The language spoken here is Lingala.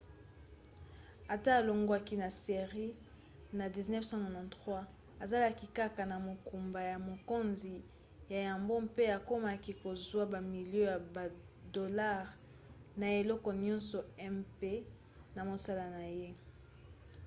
ata alongwaki na série na 1993 azalaki kaka na mokumba ya mokonzi ya yambo mpe akomaki kozwa bamilio ya badolare na eleko nyonso mp na mosala na ye